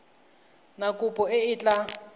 na kopo e e tla